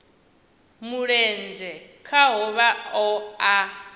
mulenzhe khaho vha o a